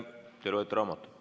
Te loete raamatut.